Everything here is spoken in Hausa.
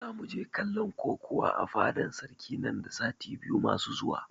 Zamu je kallon kokuwa a fadan sarki nan da sati biyu masu zuwa